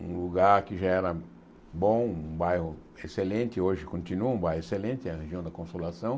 Um lugar que já era bom, um bairro excelente, hoje continua um bairro excelente, a região da Consolação.